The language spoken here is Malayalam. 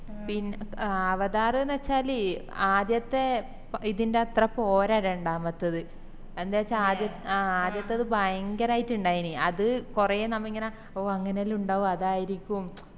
പിന്ന അവതാർ ന്ന് വെച്ചാല് ആദ്യത്തെ ഇതിന്ടെത്ര പോരാ രണ്ടാമത്തത് എന്താച്ചാ ആദ്യത്തത് ഭയങ്കരയിറ്റ് ഇന്ടയിനി അത് കൊറേ നമ്മ ഇങ്ങനെ ഓ അങ്ങനെല്ലാം ഇണ്ടാവും അതായിരിക്കും